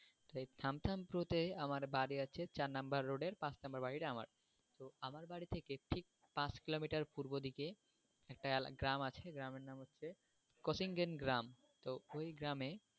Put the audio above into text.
তো এই তে আমার বাড়ি আছে চার number road এর পাঁচ number বাড়িটা আমার, তো আমার বাড়ি থেকে ঠিক পাঁচ কিলোমিটার পূর্ব দিকে একটা এলা, গ্রাম আছে, গ্রামের নাম হচ্ছে তো ওই গ্রামে,